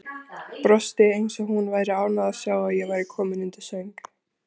Brosti eins og hún væri ánægð að sjá að ég var kominn undir sæng.